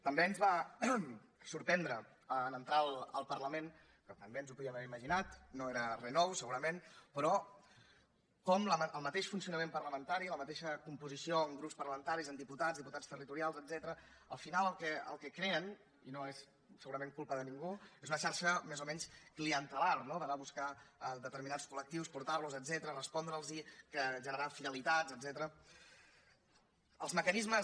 també ens va sorprendre en entrar al parlament que també ens ho podíem haver imaginat no era res nou segurament però com el mateix funcionament parlamentari la mateixa composició en grups parlamentaris en diputats diputats territorials etcètera al final el que creen i no és segurament culpa de ningú és una xarxa més o menys clientelar no d’anar a buscar determinats col·lectius portar los etcètera respondre’ls generar fidelitats etcètera